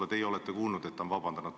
Kas teie olete kuulnud, et ta on seda teinud?